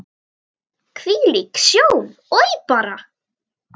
Hvílík sjón, oj bara!